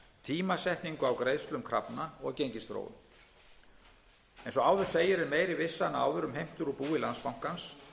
tímasetningu á greiðslum krafna og gengisþróun eins og áður segir er meiri vissa en áður um heimtur úr búi landsbankans